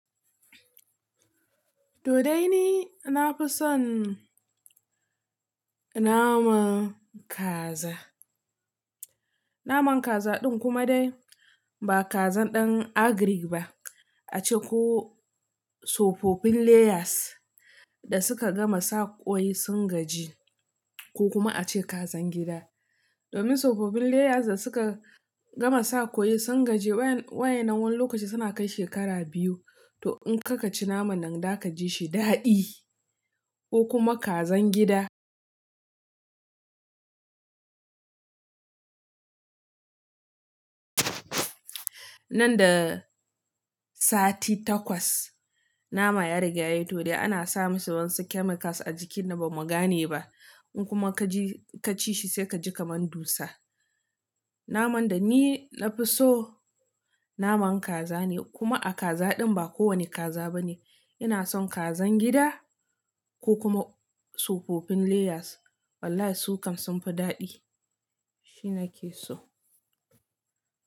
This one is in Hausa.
To dai ni na fi son naman kaza. Naman kaza din kuma dai ba kazan ɗan agrik ba, ace ko sufofin layers da suka gama sa ƙwai sun gaji ko kuma ace kazan gida. Domin sufofin layers da suka gama sa ƙwai sun gaji waye na wani lokaci suna kai shekara biyu. To in kaka ci naman nan da ka ji shi daɗi ko kuma kazan gida. Nan da sati takwas nama ya riga yayi to dai ana sa masa wani chemicals a jikin nan bamu gane ba. In kuma ka ji ka ci shi sai ka ji kamar dusa. Naman da ni na fi so naman kaza ne kuma a kaza din ba kowane kaza ba ne. Ina son kazan gida ko kuma sufofin layers. Wallahi su kam sun fi daɗi. Shi nake so.